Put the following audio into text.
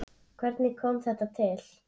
Hvernig kom þetta til?